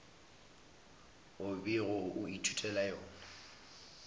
o bego o ithutela yona